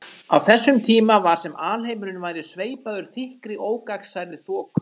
Á þessum tíma var sem alheimurinn væri sveipaður þykkri ógagnsærri þoku.